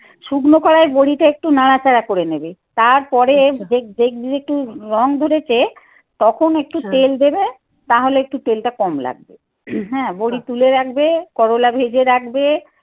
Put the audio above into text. শুকনো কড়াই বড়িটা একটু নাড়াচাড়া করে নেবে। তারপরে দেখ দেখবে একটু রং ধরেছে। তখন একটু তেল দেবে। তাহলে একটু তেলটা কম লাগবে। হ্যাঁ বড়ি তুলে রাখবে। করোলা ভেজে রাখবে।